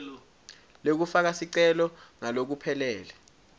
lekufaka sicelo ngalokuphelele